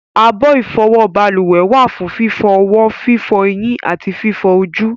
abọ́ ìfọwọ́ balùwẹ̀ wà fún fífọ ọwọ́, fífọ ẹyín àti fífọ ojú